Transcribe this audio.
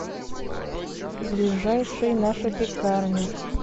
ближайший наша пекарня